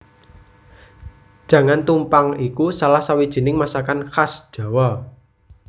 Jangan tumpang iku salah sawijining masakan khas Jawa